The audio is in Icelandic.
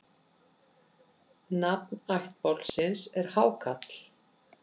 Nafn ættbálksins er Hákarl.